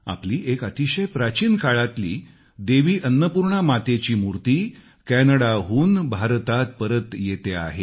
आपली एक अतिशय प्राचीन काळातली देवी अन्नपूर्णा मातेची मूर्ती कॅनडावरून परत भारतात येतेय